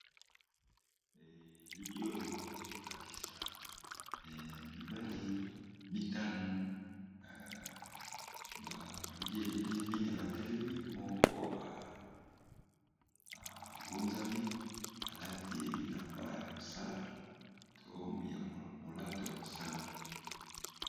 Elili oyo ekolakisa mibali mitano bakangi elili mine batelemi moko aguzami alati bilamba ya mosala to ya molato ya mosala.